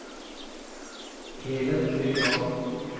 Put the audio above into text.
Helen Øygarden